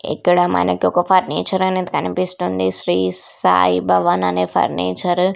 ఇక్కడ మనకొక ఫర్నిచర్ అనేది కనిపిస్తుంది శ్రీ సాయి భవన్ అనే ఫర్నిచరు .